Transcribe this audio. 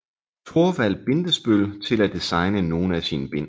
Thorvald Bindesbøll til at designe nogle af sine bind